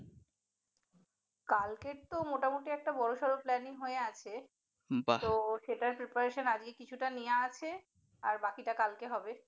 কালকের তো মোটামুটি একটা বড়সড় planning হয়ে আছে, তো সেটার preparation আজকেই কিছুটা নেওয়া আছে আর বাকিটা কালকে হবে ।